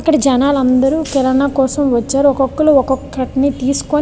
ఇక్కడ జనాలు అదురు కిరానా కోసము వచ్చారు. ఒక్కొక్కళ్ళు ఒక్కొక్కటి తీసుకొని --